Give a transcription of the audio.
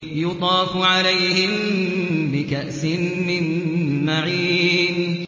يُطَافُ عَلَيْهِم بِكَأْسٍ مِّن مَّعِينٍ